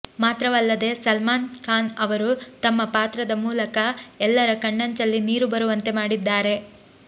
ಮಾತ್ರವಲ್ಲದೇ ಸಲ್ಮಾನ್ ಖಾನ್ ಅವರು ತಮ್ಮ ಪಾತ್ರದ ಮೂಲಕ ಎಲ್ಲರ ಕಣ್ಣಂಚಲ್ಲಿ ನೀರು ಬರುವಂತೆ ಮಾಡಿದ್ದಾರೆ